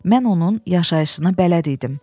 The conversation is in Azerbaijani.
Mən onun yaşayışına bələd idim.